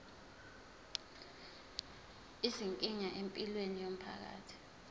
izinkinga empilweni yomphakathi